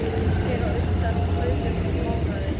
Ég fer á undan og kaupi eitthvert smáræði.